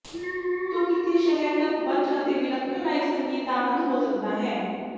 ਤੂੰ ਕਿੱਥੇ ਸ਼ਹਿਰ ਤੱਕ ਬਚ ਅਤੇ ਵਿਲੱਖਣ ਲਾਈਵ ਸੰਗੀਤ ਦਾ ਆਨੰਦ ਹੋ ਸਕਦਾ ਹੈ